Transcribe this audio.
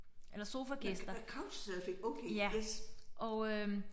Eller sofa gæster ja og øh